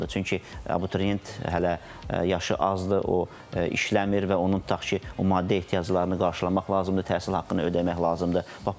Çünki abituriyent hələ yaşı azdır, o işləmir və onun tutaq ki, maddi ehtiyaclarını qarşılamaq lazımdır, təhsil haqqını ödəmək lazımdır.